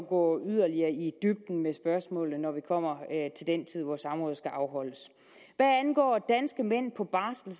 gå yderligere i dybden med spørgsmålet når vi kommer til den tid hvor samrådet skal afholdes hvad angår danske mænd på barsel